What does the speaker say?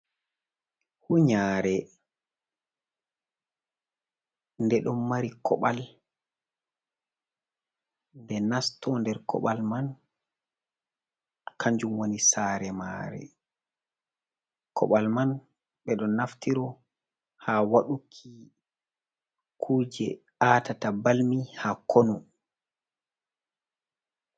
Hunyare de don mari koɓal de nasto nder kobal man kanjum woni sare mare ,koɓal man be do naftiro ha waɗuki kuje atata balmi ha konu.